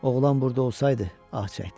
Oğlan burda olsaydı, ah çəkdi.